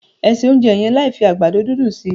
O se ounjẹ yẹn láì fi àgbàdo dundun sí!